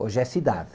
Hoje é cidade.